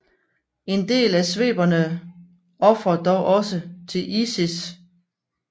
En del af sveberne ofrer dog også til Isis